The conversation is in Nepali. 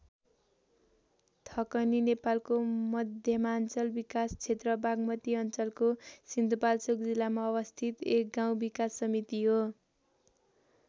थकनी नेपालको मध्यमाञ्चल विकास क्षेत्र बागमती अञ्चलको सिन्धुपाल्चोक जिल्लामा अवस्थित एक गाउँ विकास समिति हो।